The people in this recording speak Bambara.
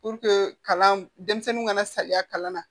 kalan denmisɛnninw kana saliya kalan na